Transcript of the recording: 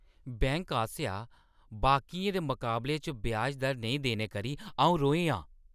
Bank आसेआ बाकियें दे मकाबले च ब्याज दर नेईं देने करी अ‘ऊं रोहें आं।